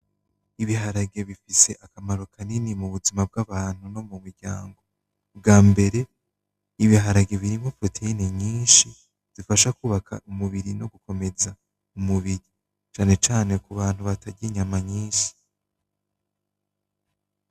Ibiharage bifise akamaro kanini mu buzima bw'abantu no mu miryango. Bwa mbere ibiharage birimwo proteyine nyinshi zifasha kwubaka umubiri no gukomeza umubiri, cane cane ku bantu batarya inyama nyinshi.